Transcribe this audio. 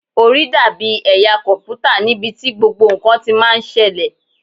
Orí dàbí ẹ̀yà kọ̀m̀pútà níbi tí gbogbo ǹkan ti máa ń ṣẹlẹ̀.